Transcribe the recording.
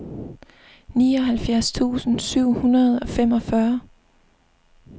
nioghalvfjerds tusind syv hundrede og femogfyrre